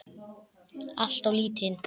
Alltof lítinn.